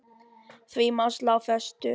Því má slá föstu.